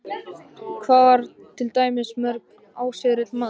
Hann var til dæmis mjög árrisull maður.